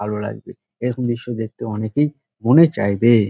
ভালো লাগবে এরকম দৃশ্য দেখতে অনেকেই মনে চাইবে।